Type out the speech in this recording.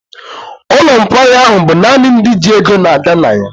Ụlọ nkwari ahụ bụ naanị ndị ji ego na-aga na ya.